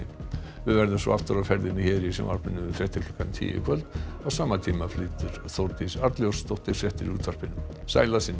við verðum svo aftur á ferðinni hér í sjónvarpinu með fréttir klukkan tíu í kvöld á sama tíma flytur Þórdís Arnljótsdóttir fréttir í útvarpinu sæl að sinni